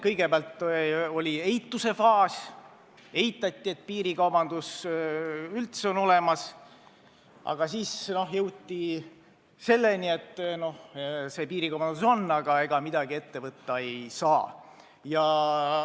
Kõigepealt oli eitusfaas – eitati, et piirikaubandus üldse on olemas –, aga siis jõuti seisukohani, et piirikaubandus on, aga ega midagi ette võtta ei saa.